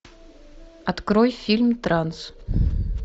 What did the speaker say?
открой фильм транс